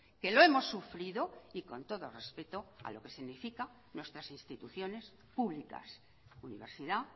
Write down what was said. que lo hemos sufrido y con todo respeto a lo que significa nuestras instituciones públicas universidad